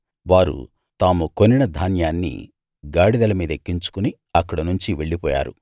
వారు తాము కొనిన ధాన్యాన్ని గాడిదల మీద ఎక్కించుకుని అక్కడనుంచి వెళ్ళిపోయారు